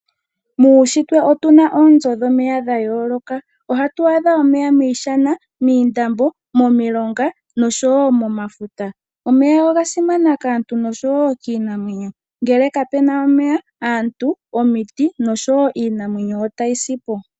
Muushitwe otuna oonzo dhomeya dha yooloka. Ohatu adha omeya miishana, miindambo, momilonga noshowo momafuta. Omeya oga simana kaantu nosho kiinamwenyo, ngele kapu na omeya aantu, omiti noshowo iinamwenyo otayi si po.